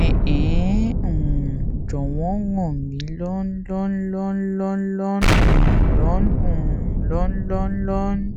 ẹn ẹ um jọwọn ràn mí lọn lọn lọn lọn lọn lọn um lọn um lọn lọn lọn lọn